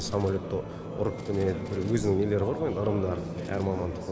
самолетты біріктіреді өзінің нелері бар ғой ырымдары әр мамандықтың